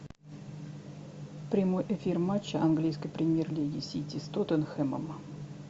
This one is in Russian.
прямой эфир матча английской премьер лиги сити с тоттенхэмом